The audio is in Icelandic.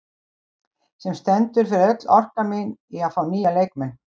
Sem stendur fer öll mín orka í að fá nýja leikmenn.